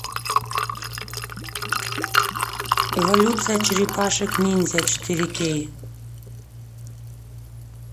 эволюция черепашек ниндзя четыре кей